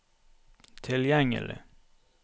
tilgjengelig